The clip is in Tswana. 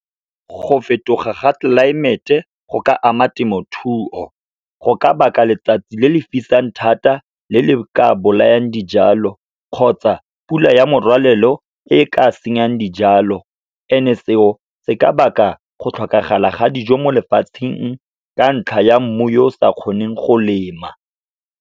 Go fetoga ga tlelaemete go ka ama temothuo. Go ka baka letsatsi le le fisang thata, le le ka bolayang dijalo, kgotsa pula ya morwalela eo e ka senyang dijalo, and-e seo se ka baka go tlhokagala ga dijo mo lefatsheng, ka ntlha ya mmu yo o sa kgoneng go lema.